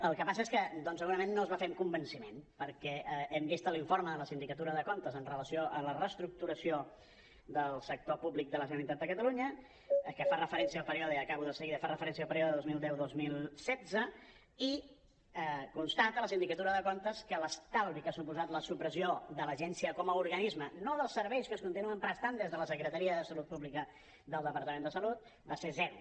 el que passa és que doncs segurament no es va fer amb convenciment perquè hem vist l’informe de la sindicatura de comptes amb relació a la reestructuració del sector públic de la generalitat de catalunya que fa referència al període i acabo de seguida dos mil deu dos mil setze i constata la sindicatura de comptes que l’estalvi que ha suposat la supressió de l’agència com a organisme no dels serveis que es continuen prestant des de la secretaria de salut pública del departament de salut va ser zero